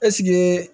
Ɛseke